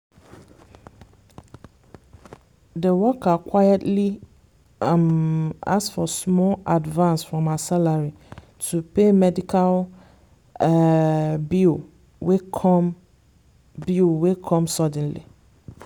the worker quietly um ask for small advance from her salary to pay medical um bill wey come bill wey come suddenly.